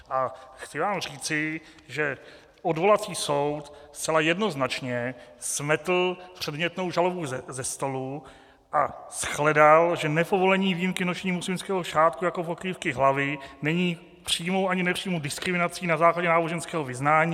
A chci vám říci, že odvolací soud zcela jednoznačně smetl předmětnou žalobu ze stolu a shledal, že nepovolení výjimky nošení muslimského šátku jako pokrývky hlavy není přímou ani nepřímou diskriminací na základě náboženského vyznán.